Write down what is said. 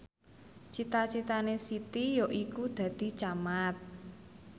cita citane Siti yaiku dadi camat